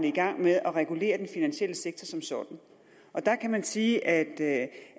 i gang med at regulere den finansielle sektor som sådan og der kan man sige at